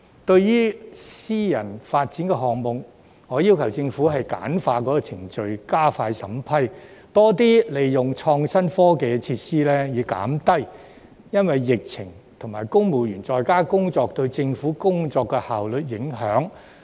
對於私人發展項目，我要求政府簡化程序，加快審批，更多利用創新科技設施，以減低疫情及公務員在家工作對政府工作效率的影響。